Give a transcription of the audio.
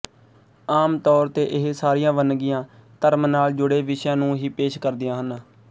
ਆਮ ਤੌਰ ਤੇ ਇਹ ਸਾਰੀਆਂ ਵੰਨਗੀਆਂ ਧਰਮ ਨਾਲ ਜੁੜੇ ਵਿਸ਼ਿਆਂ ਨੂੰ ਹੀ ਪੇਸ਼ ਕਰਦੀਆਂ ਹਨ